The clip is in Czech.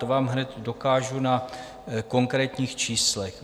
To vám hned dokážu na konkrétních číslech.